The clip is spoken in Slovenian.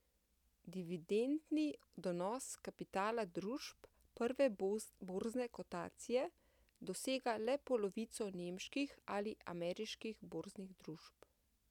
Dividendni donos kapitala družb prve borzne kotacije dosega le polovico nemških ali ameriških borznih družb.